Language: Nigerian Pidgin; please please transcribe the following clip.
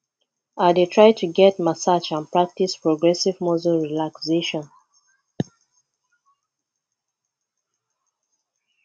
i dey try to get massage and practice progressive muscle relaxation